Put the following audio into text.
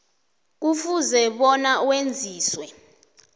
kufuze bona wenziwe